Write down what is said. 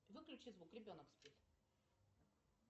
выключи звук ребенок спит